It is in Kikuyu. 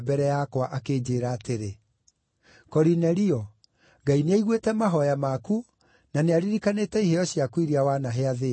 akĩnjĩĩra atĩrĩ, ‘Korinelio, Ngai nĩaiguĩte mahooya maku, na nĩaririkanĩte iheo ciaku iria wanahe athĩĩni.